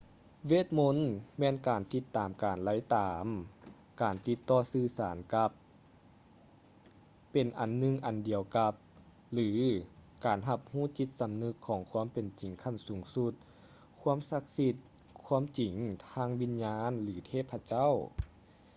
ເວດມົນ ແມ່ນການຕິດຕາມການໄລ່ຕາມ ການຕິດຕໍ່ສື່ສານກັບ ເປັນອັນໜຶ່ງອັນດຽວກັບ ຫຼື ການຮັບຮູ້ຈິດສຳນຶກຂອງຄວາມເປັນຈິງຂັ້ນສູງສຸດ ຄວາມສັກສິດ ຄວາມຈິງທາງວິນຍານ ຫຼື ເທບພະເຈົ້າ